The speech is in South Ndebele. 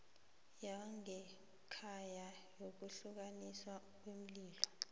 yangekhaya yokudluliswa kweenlilo